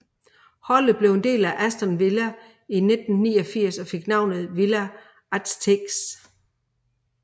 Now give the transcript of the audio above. Holdet blev en del af Aston Villa i 1989 og fik navnet Villa Aztecs